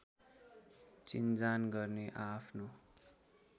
चिनजान गर्ने आआफ्नो